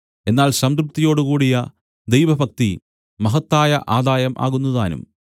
എന്നാൽ സംതൃപ്തിയോടുകൂടിയ ദൈവഭക്തി മഹത്തായ ആദായം ആകുന്നുതാനും